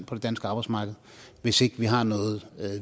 på det danske arbejdsmarked hvis ikke vi har noget